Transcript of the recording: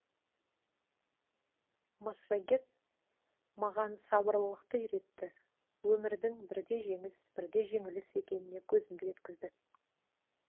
массагет маған сабырлылықты үйретті өмірдің бірде жеңіс бірде жеңіліс екеніне көзімді жеткізді